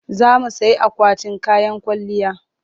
Za mu sayi akwatin kayan kwalliya.